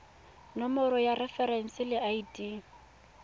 nomoro ya referense le id